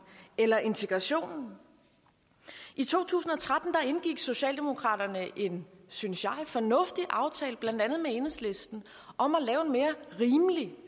eller integrationen i to tusind og tretten indgik socialdemokraterne en synes jeg fornuftig aftale med blandt andet enhedslisten om at lave en mere rimelig